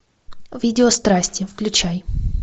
видео страсти включай